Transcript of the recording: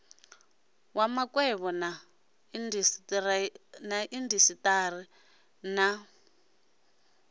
wa makwevho na indasiteri na